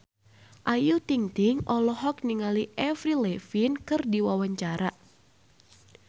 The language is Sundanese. Ayu Ting-ting olohok ningali Avril Lavigne keur diwawancara